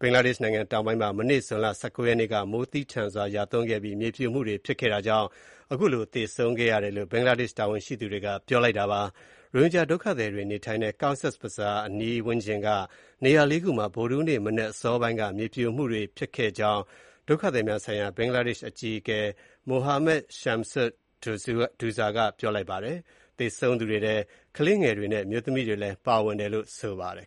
ဘင်္ဂလားဒေ့ရှ်နိုင်ငံတောင်ပိုင်းမှာ မနေ့ ဇွန်လ ၁၉ ရက်နေ့က မိုးသည်းထန်စွာရွာသွန်းပြီး မြေပြိုမှုတွေ ဖြစ်ခဲ့တာကြောင့် ရိုဟင်ဂျာ ၈ ဦးအပါအဝင် အနည်းဆုံး လူ ၁၀ ဦး သေဆုံးခဲ့တယ်လို့ ဘင်္ဂလားဒေ့ရှ် တာဝန်ရှိသူတွေက ပြောပါတယ်။ ရိုဟင်ဂျာဒုက္ခသည်တွေ နေထိုင်တဲ့ Cox’s Bazar အနီးဝန်းကျင်က နေရာ ၄ ခုမှာ ဗုဒ္ဓဟူးနေ့ မနက်အစောပိုင်းက မြေပြိုမှုတွေဖြစ်ခဲ့ကြောင်း ဒုက္ခသည်များဆိုင်ရာ ဘင်္ဂလားဒေ့ရှ်အကြီးအကဲ Mohammad Shamsud Douza က ပြောပါတယ်။ သေဆုံးသူတွေထဲ ကလေးငယ်တွေနဲ့ အမျိုးသမီးတွေလည်း ပါဝင်တယ်လို့ ဆိုပါတယ်